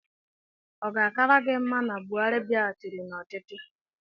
Ọ ga-akara gị mma na Buhari bịaghachịrị n'ọchịchị?